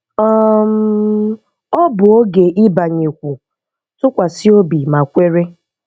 um Ọ bụ oge ịbanyekwu, tụkwasị obi ma kwere!